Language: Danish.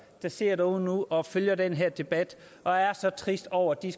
der sidder derude nu og følger den her debat og er så triste over at de